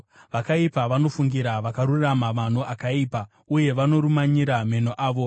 Vakaipa vanofungira vakarurama mano akaipa, uye vanovarumanyira meno avo.